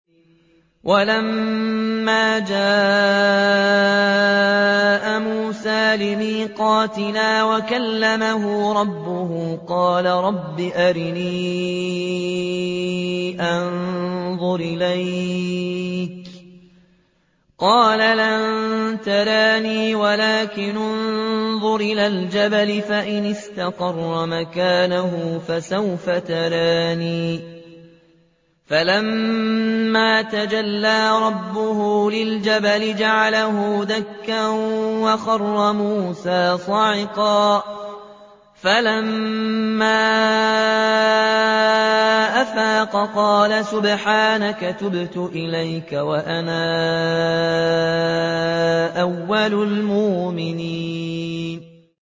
وَلَمَّا جَاءَ مُوسَىٰ لِمِيقَاتِنَا وَكَلَّمَهُ رَبُّهُ قَالَ رَبِّ أَرِنِي أَنظُرْ إِلَيْكَ ۚ قَالَ لَن تَرَانِي وَلَٰكِنِ انظُرْ إِلَى الْجَبَلِ فَإِنِ اسْتَقَرَّ مَكَانَهُ فَسَوْفَ تَرَانِي ۚ فَلَمَّا تَجَلَّىٰ رَبُّهُ لِلْجَبَلِ جَعَلَهُ دَكًّا وَخَرَّ مُوسَىٰ صَعِقًا ۚ فَلَمَّا أَفَاقَ قَالَ سُبْحَانَكَ تُبْتُ إِلَيْكَ وَأَنَا أَوَّلُ الْمُؤْمِنِينَ